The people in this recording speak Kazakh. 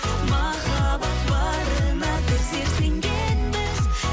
махаббат барына біздер сенгенбіз